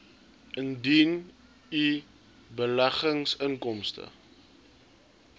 indien u beleggingsinkomste